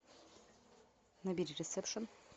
набери ресепшн